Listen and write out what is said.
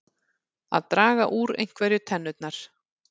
Að draga úr einhverju tennurnar